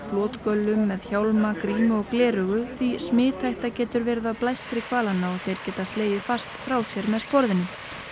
flotgöllum með hjálma grímu og gleraugu því smithætta getur verið af blæstri hvalanna og þeir geta slegið fast frá sér með sporðinum